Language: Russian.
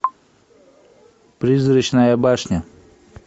призрачная башня